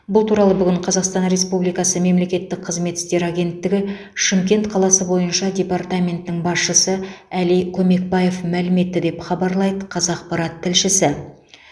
бұл туралы бүгін қазақстан республикасы мемлекеттік қызмет істері агенттігі шымкент қаласы бойынша департаментінің басшысы әли көмекбаев мәлім етті деп хабарлайды қазақпарат тілшісі